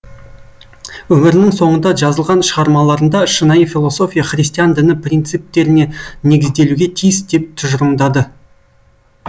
өмірінің соңында жазылған шығармаларында шынайы философия христиан діні принциптеріне негізделуге тиіс деп тұжырымдады